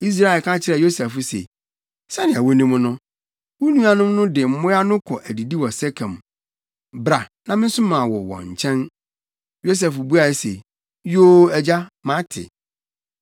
Israel ka kyerɛɛ Yosef se, “Sɛnea wunim no, wo nuanom no de mmoa no kɔ adidi wɔ Sekem. Bra, na mensoma wo wɔn nkyɛn.” Yosef buae se, “Yoo, agya, mate.”